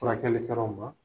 Furakɛli kɛraw ma.